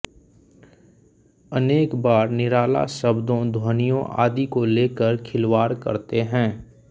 अनेक बार निराला शब्दों ध्वनियों आदि को लेकर खिलवाड़ करते हैं